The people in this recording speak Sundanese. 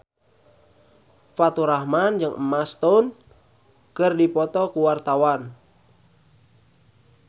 Faturrahman jeung Emma Stone keur dipoto ku wartawan